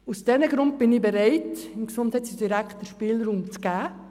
Aus diesem Grund bin ich bereit, dem Gesundheitsdirektor einen Spielraum zu gewähren.